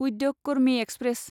उद्यग कर्मि एक्सप्रेस